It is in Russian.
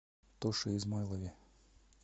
тоше измайлове